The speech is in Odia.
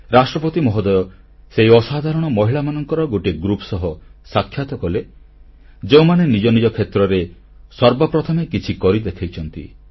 ରାଷ୍ଟ୍ରପତି ମହୋଦୟ ସେହି ଅସାଧାରଣ ମହିଳାମାନଙ୍କର ଗୋଟିଏ ଗ୍ରୁପ ସହ ସାକ୍ଷାତ କଲେ ଯେଉଁମାନେ ନିଜ ନିଜ କ୍ଷେତ୍ରରେ ସର୍ବ ପ୍ରଥମେ କିଛି କରି ଦେଖାଇଛନ୍ତି